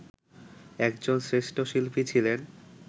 একজন শ্রেষ্ঠ শিল্পী ছিলেন